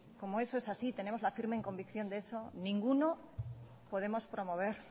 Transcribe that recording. como eso es así tenemos la firme convicción de eso ninguno podemos promover